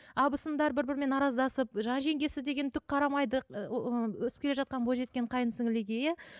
абысындар бір бірімен араздасып жаңа жеңгесі деген түк қарамайды өсіп келе жатқан бойжеткен қайынсіңліліге иә